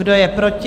Kdo je proti?